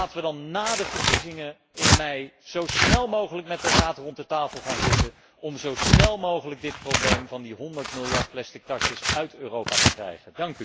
En laten wij dan na de verkiezingen in mei zo snel mogelijk met de Raad rond de tafel gaan zitten om zo snel mogelijk dit probleem van die honderd miljard plastic tasjes uit Europa te krijgen.